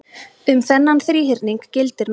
um þennan þríhyrning gildir nú jafnan